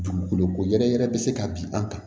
Dugukolo ko yɛrɛ yɛrɛ be se ka bin an kan